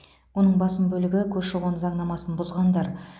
оның басым бөлігі көші қон заңнамасын бұзғандар